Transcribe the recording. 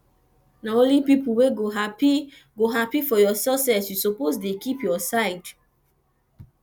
na only pipu wey go hapi go hapi for your success you suppose dey keep your side